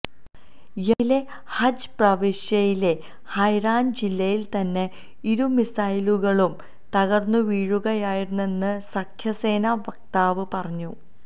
യെമനിലെ ഹജ്ജ പ്രവിശ്യയിലെ ഹൈറാന് ജില്ലയില് തന്നെ ഇരു മിസൈലുകളും തകര്ന്നുവീഴുകയായിരുന്നെന്ന് സഖ്യസേനാ വക്താവ് പറഞ്ഞു